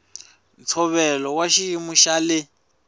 ntshovelo wa xiyimo xa le